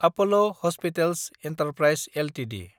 Apollo hospitals enterprise Ltd